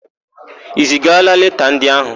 I zigala leta ndị áhụ̀?